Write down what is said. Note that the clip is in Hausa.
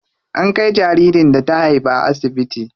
An kai jaririn da ta haifa asibiti.